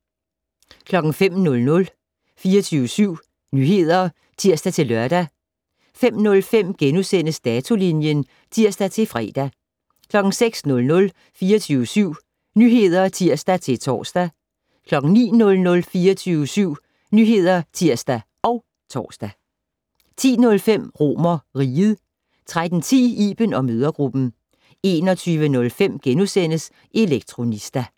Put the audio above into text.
05:00: 24syv Nyheder (tir-lør) 05:05: Datolinjen *(tir-fre) 06:00: 24syv Nyheder (tir-tor) 09:00: 24syv Nyheder (tir og tor) 10:05: RomerRiget 13:10: Iben & mødregruppen 21:05: Elektronista *